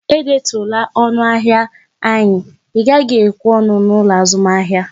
E detuola ọnụ ahịa anyi, Ị gaghị ekwe ọnụ n'ụlọ azụmahịa!